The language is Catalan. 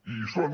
i hi són